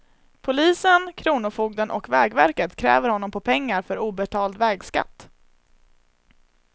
Polisen, kronofogden och vägverket kräver honom på pengar för obetald vägskatt.